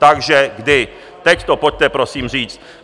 Takže kdy, teď to pojďte, prosím, říct.